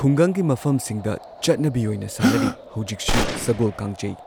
ꯈꯨꯡꯒꯪꯒꯤ ꯃꯐꯝꯁꯤꯡꯗ ꯆꯠꯅꯕꯤ ꯑꯣꯏꯅ ꯁꯥꯟꯅꯔꯤ ꯍꯧꯖꯤꯛꯁꯨ ꯁꯒꯣꯜ ꯀꯥꯡꯖꯩ꯫